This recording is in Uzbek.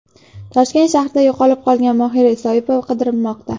Toshkent shahrida yo‘qolib qolgan Mohira Soipova qidirilmoqda.